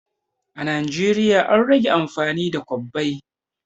A Najeriya an rage amfani da kwabbai